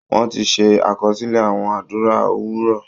Wọ́n ti ṣe àkọsílẹ̀ àwọn àdúrà òwúrọ